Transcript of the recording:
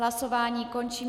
Hlasování končím.